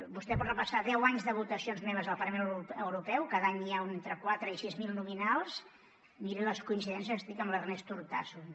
vostè pot repassar deu anys de votacions meves al parlament europeu cada any n’hi ha entre quatre i sis mil de nominals miri les coincidències estic amb l’ernest urtasun